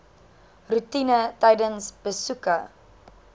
roetine tydens besoeke